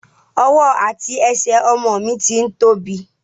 Ọwọ́ àti ẹsẹ̀ ọmọ mi ti ń tóbi.